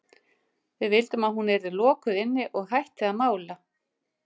Við vildum að hún yrði lokuð inni og hætti að mála.